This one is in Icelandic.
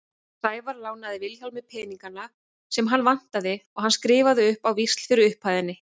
Sævar lánaði Vilhjálmi peningana sem hann vantaði og hann skrifaði upp á víxla fyrir upphæðinni.